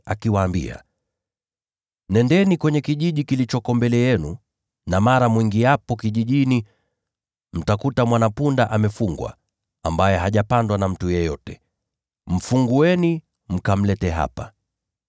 akawaambia, “Nendeni katika kijiji kilichoko mbele yenu. Na hapo mtakapoingia kijijini, mtamkuta mwana-punda amefungwa hapo, ambaye hajapandwa na mtu bado. Mfungueni, mkamlete hapa.